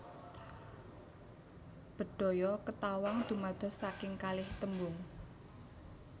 Bedhaya Ketawang dumados saking kalih tembung